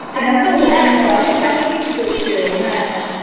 একদম এরকম অনেক কিছু করছে ও হ্যা হ্যা